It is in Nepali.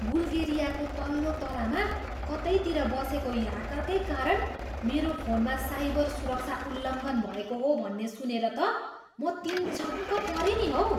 बुल्गेरियाको तल्लो तलामा कतैतिर बसेको ह्याकरकै कारण मेरो फोनमा साइबर सुरक्षा उल्लङ्घन भएको हो भन्ने सुनेर त म तिनछक्क परेँ नि हौ।